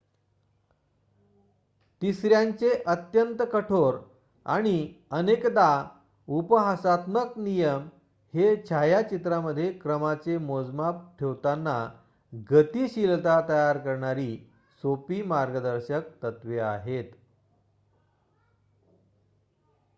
तिसऱ्यांचे अत्यंत-कठोर आणि अनेकदा-उपहासात्मक नियम हे छायाचित्रामध्ये क्रमाचे मोजमाप ठेवताना गतिशीलता तयार करणारी सोपी मार्गदर्शक तत्त्वे आहेत